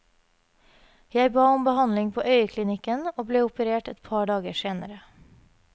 Jeg ba om behandling på øyeklinikken, og ble operert et par dager senere.